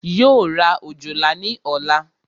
Yóò ra òjòlá ní ọ̀la